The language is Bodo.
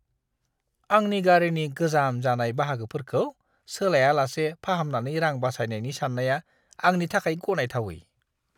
आंनि गारिनि गोजाम जानाय बाहागोफोरखौ सोलायालासे फाहामनानै रां बासायनायनि सान्नाया आंनि थाखाय गनायथावै!